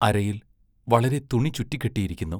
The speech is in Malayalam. അരയിൽ വളരെ തുണി ചുറ്റിക്കെട്ടിയിരിക്കുന്നു.